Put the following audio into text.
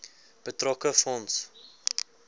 betrokke fonds